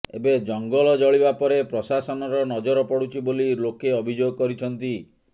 ଏବେ ଜଙ୍ଗଲ ଜଳିବା ପରେ ପ୍ରଶାସନର ନଜର ପଡୁଛି ବୋଲି ଲୋକେ ଅଭିଯୋଗ କରିଛନ୍ତି